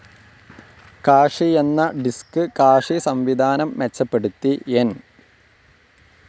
Cache എന്ന disk cache സംവിധാനം മെച്ചപ്പെടുത്തി എൻ.